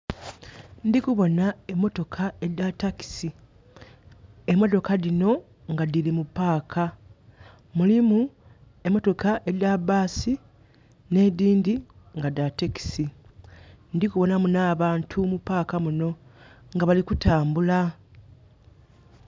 Ndhi kubona emotoka edha taxi. Emotoka dhino nga dhili mu park. Mulimu emotoka edha bus nh'edhindhi nga dha taxi. Ndhi kubonamu nh'abantu mu park muno nga bali kutambula.